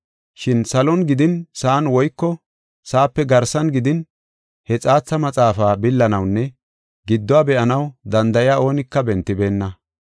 Shin salon gidin sa7an woyko sa7ape garsan gidin he xaatha maxaafaa billanawunne gidduwa be7anaw danda7ey oonika bentibeenna.